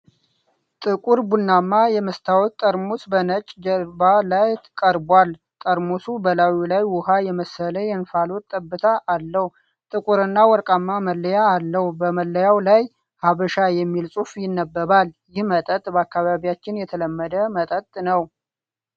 ጥቁር ቡናማ የመስታወት ጠርሙስ በነጭ ጀርባ ላይ ቀርቧል። ጠርሙሱ በላዩ ላይ ውሃ የመሰለ የእንፋሎት ጠብታ አለው፡፡ ጥቁርና ወርቃማ መለያ አለው። በመለያው ላይ "ሀበሻ"የሚል ጽሑፍ ይነበባል። ይህ መጠጥ በአካባቢያችን የተለመደ መተጠጥ ነው፡፡